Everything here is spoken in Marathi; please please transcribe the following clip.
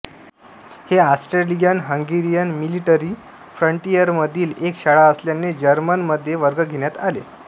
हे ऑस्ट्रेलियनहंगेरियन मिलिटरी फ्रंटियरमधील एक शाळा असल्याने जर्मनमध्ये वर्ग घेण्यात आले